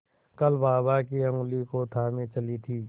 कल बाबा की ऊँगली को थामे चली थी